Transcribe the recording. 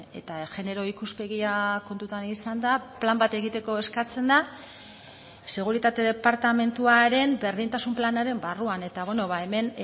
eta genero ikuspegia kontutan izanda plan bat egiteko eskatzen da seguritate departamentuaren berdintasun planaren barruan eta hemen